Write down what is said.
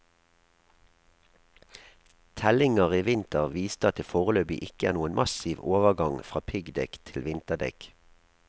Tellinger i vinter viste at det foreløpig ikke er noen massiv overgang fra piggdekk til vinterdekk.